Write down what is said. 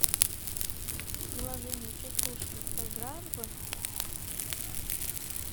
приложение частушки поиграем в